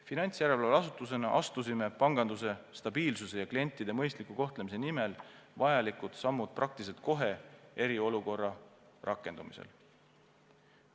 Finantsjärelevalveasutusena astusime panganduse stabiilsuse ja klientide mõistliku kohtlemise nimel vajalikud sammud praktiliselt kohe eriolukorra rakendumisel.